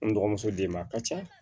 N dɔgɔmuso d'i ma a ka ca